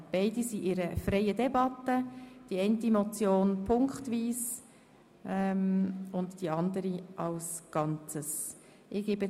Wir führen bei beiden eine freie Debatte, wobei wir die eine Motion punktweise und die andere gesamthaft zur Abstimmung bringen werden.